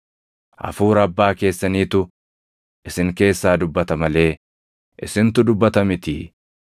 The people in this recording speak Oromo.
Hafuura Abbaa keessaniitu isin keessaa dubbata malee isintu dubbata mitii.